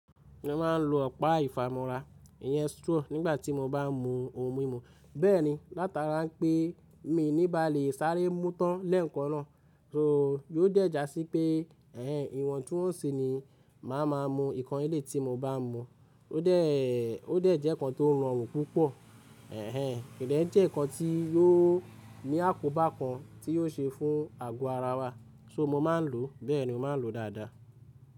Mo ma n lo ọ̀pá ìfámọra, iyen straw nígbà tí mo bá n mu ohun mímu. Bẹ́ẹ̀ni látara n pé mi níba lè sáré mú tán lẹ́ẹ̀kan náà, so yóò dẹ̀jà síi pé ẹ̀hen ìwọ̀n tun woǹṣí ni màá má mu nkan elẹ̀yi tí mo bá n mu. Ó dẹ̀, ó dẹ̀ jẹ́ nkán tó rọrùn púpọ̀, ẹ̀hen kò dẹ̀ ń jẹ́ nkán tí yóò ní àkóbá kan tí yóò ṣe fún àgọ ara wa. So mo ma n lo, bẹ́ẹ̀ni mo ma n lo dáadáa.